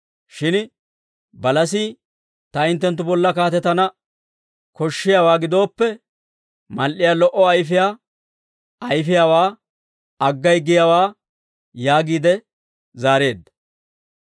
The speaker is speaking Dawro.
Shin balasii, ‹Ta hinttenttu bolla kaatetana koshshiyaawaa gidooppe, mal"iyaa lo"o ayfiyaa ayfiyaawaa aggay giyaawaa› yaagiide zaareedda.